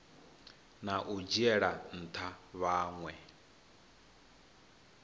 na u dzhiela ntha vhanwe